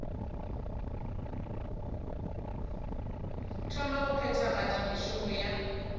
thoma go phethagatša mešomo ya